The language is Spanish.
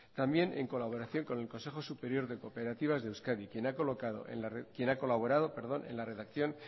también en colaboración con el consejo superior de cooperativas de euskadi quien ha colaborado en la redacción